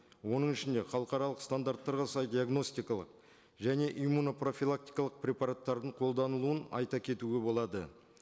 оның ішінде халықаралық стандарттарға сай диагностикалық және иммуно профилактикалық препараттардың қолданылуын айта кетуге болады